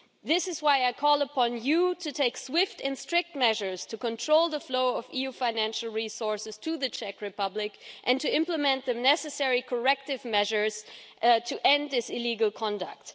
This is why I call upon you to take swift and strict measures to control the flow of EU financial resources to the Czech Republic and to implement the necessary corrective measures to end this illegal conduct.